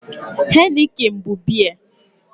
Heineken bụ biya